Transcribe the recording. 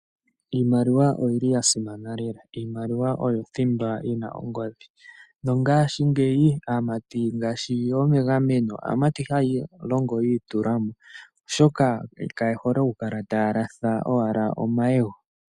Iimaliwa oya simana oyo othimba yina ongodhi. Aamati yamwe ohaya longo yiitulamo oshoka kaye hole oku kala taya latha omayego.